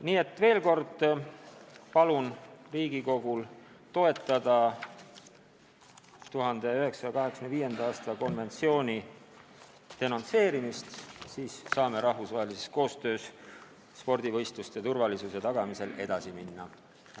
Nii et veel kord: palun Riigikogul toetada 1985. aasta konventsiooni denonsseerimist, siis saame rahvusvahelises koostöös spordivõistluste turvalisuse tagamisel edasi minna!